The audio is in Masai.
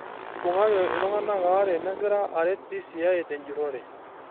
Eibung'aki iltungana aare negira aret DCI ten jurore